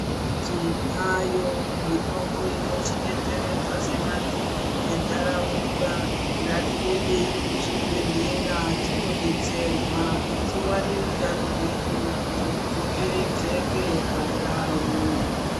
Tinayo mitombo inotidetseredza sevantu ventaraunda. Ngatiendei kuzvibhedhlera tinodetserwa tiwane utano hwedu kuti hudzokeredzeke pandau.